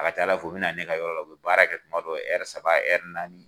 A ka ca Ala fɛ u bɛ na ne ka yɔrɔ la u bɛ baara kɛ tuma dɔ saba naani